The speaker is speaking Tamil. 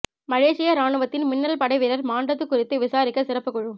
மலேசிய ராணுவத்தின் மின்னல் படை வீரர் மாண்டது குறித்து விசாரிக்க சிறப்புக் குழு